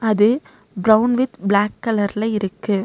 அது brown with black கலர்ல இருக்கு.